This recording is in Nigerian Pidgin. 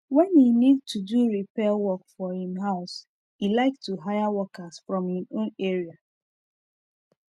when e need to do repair work for him house e like to hire workers from him own area